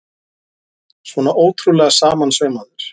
Svona ótrúlega samansaumaður!